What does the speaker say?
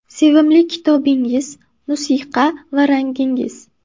Sevimli kitobingiz, musiqa va rangingiz?